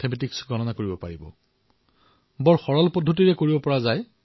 MBBS